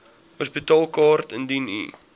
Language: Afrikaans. hospitaalkaart indien u